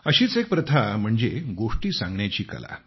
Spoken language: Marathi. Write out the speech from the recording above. अशीच एक प्रथा म्हणजे गोष्टी सांगण्याची कला